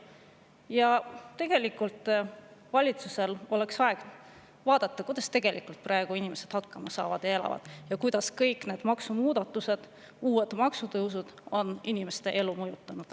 Ja tegelikult valitsusel oleks aeg vaadata, kuidas tegelikult praegu inimesed hakkama saavad ja elavad ja kuidas kõik need maksumuudatused, uued maksutõusud on inimeste elu mõjutanud.